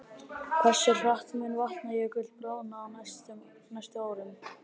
Hversu hratt mun Vatnajökull bráðna á næstu árum?